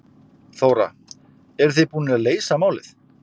Þóra: Eruð þið búnir að leysa málið?